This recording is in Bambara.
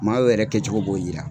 Maaw yɛrɛ kɛcogo b'o yira.